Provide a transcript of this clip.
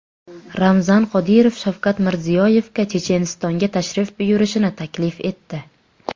Ramzan Qodirov Shavkat Mirziyoyevga Chechenistonga tashrif buyurishni taklif etdi.